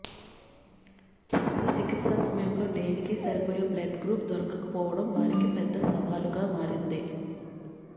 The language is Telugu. శస్త్రచికిత్స సమయంలో దేవికి సరిపోయే బ్లడ్గ్రూప్ దొరకకపోవడం వారికి పెద్ద సవాలుగా మారింది